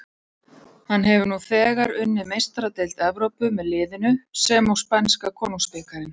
Hann hefur nú þegar unnið Meistaradeild Evrópu með liðinu sem og spænska konungsbikarinn.